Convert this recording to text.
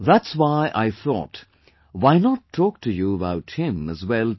That's why I thought why not talk to you about him as well today